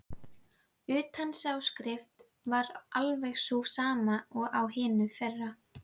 Utanáskriftin var alveg sú sama og á hinu fyrra.